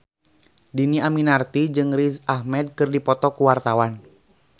Dhini Aminarti jeung Riz Ahmed keur dipoto ku wartawan